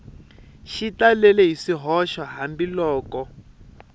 xi talele hi swihoxo hambiloko